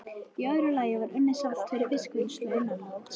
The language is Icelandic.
Í öðru lagi var unnið salt fyrir fiskvinnslu innanlands.